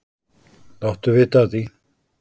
Láttu vita af því.